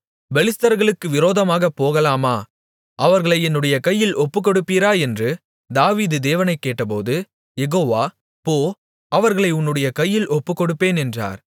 பெலிஸ்தர்களுக்கு விரோதமாகப் போகலாமா அவர்களை என்னுடைய கையில் ஒப்புக்கொடுப்பீரா என்று தாவீது தேவனைக் கேட்டபோது யெகோவா போ அவர்களை உன்னுடைய கையில் ஒப்புக்கொடுப்பேன் என்றார்